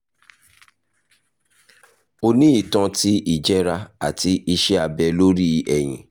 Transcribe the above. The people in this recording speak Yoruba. o ni itan ti ijẹra ati iṣẹ abẹ lori ẹhin